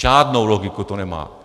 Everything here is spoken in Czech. Žádnou logiku to nemá.